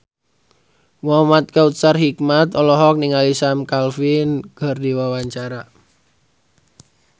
Muhamad Kautsar Hikmat olohok ningali Sam Claflin keur diwawancara